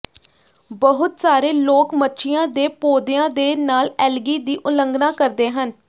ਬਹੁਤ ਸਾਰੇ ਲੋਕ ਮੱਛੀਆਂ ਦੇ ਪੌਦਿਆਂ ਦੇ ਨਾਲ ਐਲਗੀ ਦੀ ਉਲੰਘਣਾ ਕਰਦੇ ਹਨ